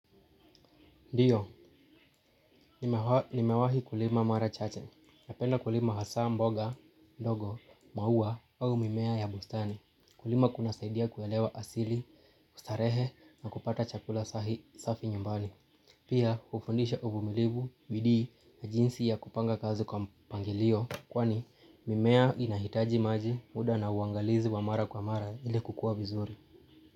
Ndiyo, nimewahi kulima mara chache. Napenda kulima hasa mboga, mihogo, maua au mimea ya bustani. Kulima kuna saidia kuelewa asili, kustarehe na kupata chakula sahi safi nyumbani. Pia ufundisha uvumilivu, bidii na jinsi ya kupanga kazi kwa mpangilio kwani mimea inahitaji maji muda na uangalizi wa mara kwa mara ili kukua vizuri.